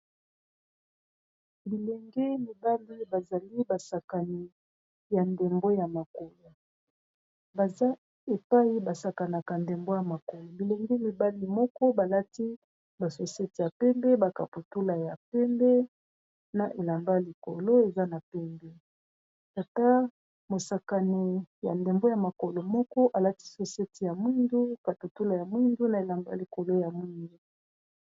Bilenge mibali bazali basakani ya ndembo ya makolo baza epai basakanaka ndembo ya makolo bilenge mibali moko balati basosete ya pembe bakaputula ya pembe na elamba likolo eza na pembe tata mosakani ya ndembo ya makolo moko alati sosete ya mwindu kaputula ya mwindu na elamba likolo ya mwindu.